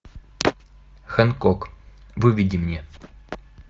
хэнкок выведи мне